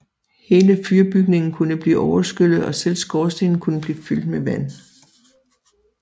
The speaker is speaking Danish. Hele fyrbygningen kunne blive overskyllet og selv skorstenen kunne blive fyldt med vand